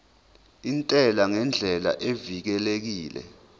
intela ngendlela evikelekile